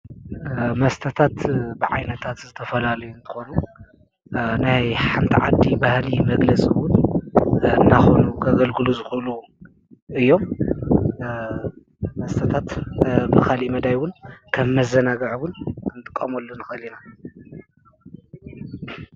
መስተታት ብዓይነታት ዝተፈላለዩ እንትኮኑ ናይ ሓንቲ ዓዲ ባህሊ መግለጺ እውን እናኾኑ ከገልግሉ ዝኽእሉ እዮም። መስተታት ብ ካሊእ መዳይ አዉን ከም መዘናግዒ አዉን ክንጥቀመሉ ንክእል ኢና።